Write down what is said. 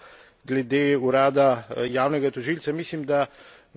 Bi pa samo še na kratko glede urada javnega tožilca.